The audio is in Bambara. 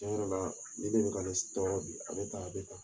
Tiɲɛ yɛrɛ la ni de bɛ ka ne tɔɔrɔ bi a bɛ tan a bɛ tan